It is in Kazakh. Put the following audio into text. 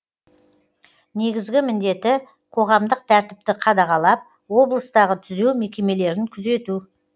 негізгі міндеті қоғамдық тәртіпті қадағалап облыстағы түзеу мекемелерін күзету